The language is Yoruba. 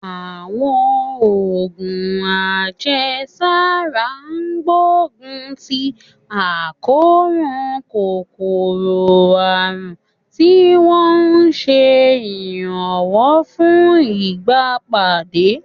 Àwọn oògùn àjẹsára ń gbógun ti àkóràn kòkòrò àrùn, tí wọ́n ń ṣe ìrànlọ́wọ́ fún ìgbàpadà.